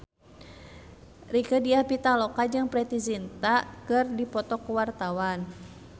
Rieke Diah Pitaloka jeung Preity Zinta keur dipoto ku wartawan